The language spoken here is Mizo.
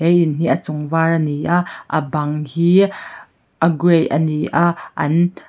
he in hi a chung var a ni a a bang hi a gray a ni a an--